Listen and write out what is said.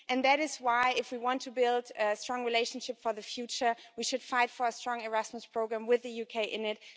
And that is why, if we want to build a strong relationship for the future, we should fight for a strong Erasmus programme with the UK in it.